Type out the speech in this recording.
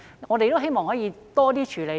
我們希望可以有多種處理。